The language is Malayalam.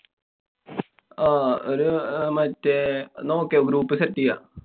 അഹ് ഒരു മറ്റേ നമുക്കെ ok. group set ചെയ്യാം.